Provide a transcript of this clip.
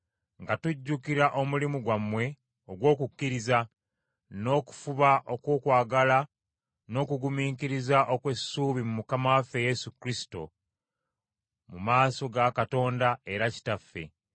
nga tujjukira omulimu gwammwe ogw’okukkiriza, n’okufuba okw’okwagala n’okugumiikiriza okw’essuubi mu Mukama waffe Yesu Kristo mu maaso ga Katonda era Kitaffe,